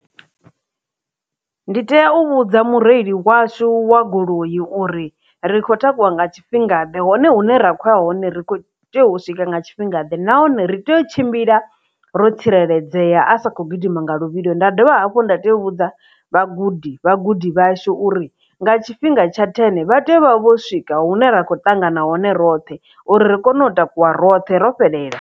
Ndi tea u vhudza mureili washu wa goloi uri ri kho takuwa nga tshifhingaḓe hone hune ra khou ya hone ri kho tea u swika nga tshifhingaḓe nahone ri tea u tshimbila ro tsireledzea a sa kho gidima nga luvhilo nda dovha hafhu nda tea u vhudza vhagudi vhagudi vhashu uri nga tshifhinga tsha ten vha tea u vha vho swika hune ra kho ṱangana hone roṱhe uri ri kone u takuwa roṱhe ro fhelela.